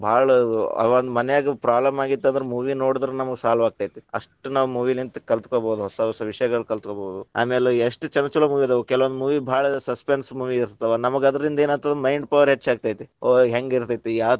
ಭಾಳ ಆವನ್ನ ಮನ್ಯಾಗ problem ಆಗಿತ್ತಂದ್ರ movie ನೋಡಿದ್ರ ನಮಗ್‌ solve ಆಗ್ತೇತಿ. ಅಷ್ಟ ನಾವು movie ಲಿಂತ ಕಲ್ತಕೊಬಹುದು ಹೊಸ ಹೊಸ ವಿಷಯಗಳನ್ನ ಕಲ್ತಗೊಬಹುದು. ಆಮೇಲ್‌ ಎಶ್ಟ್ ಛಲೋ ಛಲೋ movie ಅದಾವ ಕೆಲವೊಂದ್ movie ಭಾಳ suspense movie ಇರ್ತಾವ ನಮಗ ಅದರಿಂದ ಏನಾಗ್ತೇತಿ mind power ಹೆಚ್ಚಾಗತೈತಿ ಓ ಹೆಂಗಿರತೇತಿ ಯಾವ.